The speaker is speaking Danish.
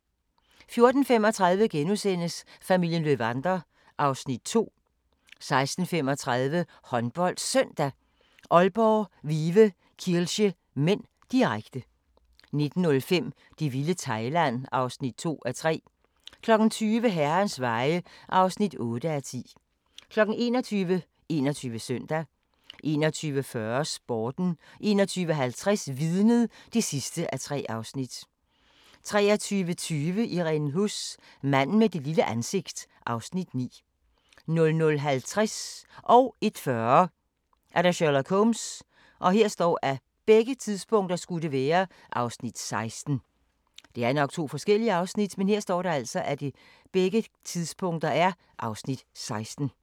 14:35: Familien Löwander (Afs. 2)* 16:35: HåndboldSøndag: Aalborg-Vive Kielce (m), direkte 19:05: Det vilde Thailand (2:3) 20:00: Herrens Veje (8:10) 21:00: 21 Søndag 21:40: Sporten 21:50: Vidnet (3:3) 23:20: Irene Huss: Manden med det lille ansigt (Afs. 9) 00:50: Sherlock Holmes (Afs. 16) 01:40: Sherlock Holmes (Afs. 16)